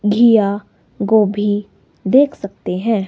घीया गोभी देख सकते है।